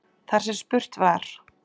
Þar sem spurt var